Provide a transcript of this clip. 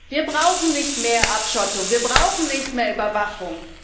Wir brauchen nicht mehr Abschottung, wir brauchen nicht mehr Überwachung.